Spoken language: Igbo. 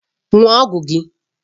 Ṅụọ ọgwụ gị!